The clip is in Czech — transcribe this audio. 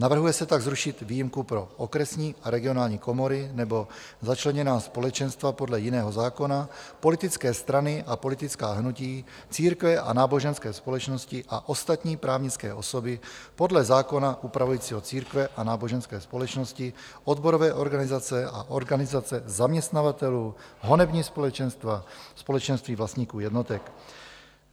Navrhuje se tak zrušit výjimku pro okresní a regionální komory nebo začleněná společenstva podle jiného zákona, politické strany a politická hnutí, církve a náboženské společnosti a ostatní právnické osoby podle zákona upravujícího církve a náboženské společnosti, odborové organizace a organizace zaměstnavatelů, honební společenstva, společenství vlastníků jednotek.